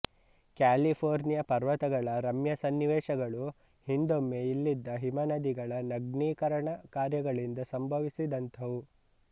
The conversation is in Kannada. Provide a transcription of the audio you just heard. ಕ್ಯಾಲಿಫೋರ್ನಿಯದ ಪರ್ವತಗಳ ರಮ್ಯ ಸನ್ನಿವೇಶಗಳು ಹಿಂದೊಮ್ಮೆ ಇಲ್ಲಿದ್ದ ಹಿಮನದಿಗಳ ನಗ್ನೀಕರಣ ಕಾರ್ಯಗಳಿಂದ ಸಂಭವಿಸಿದಂಥವು